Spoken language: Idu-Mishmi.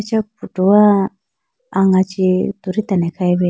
eya photo wa anga chee tulitela ne khayi bi.